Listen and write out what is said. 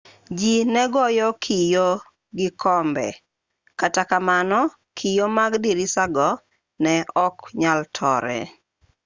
ji ne goyo kio go kombe kata kamano kio mag dirisago ne ok nyal tore